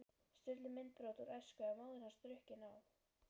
Sturlu myndbrot úr æsku, af móður hans drukkinni á